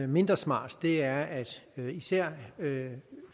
mindre smart er at især